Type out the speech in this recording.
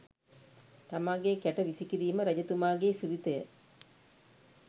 තමාගේ කැට වීසිකිරීම රජතුමාගේ සිරිතය.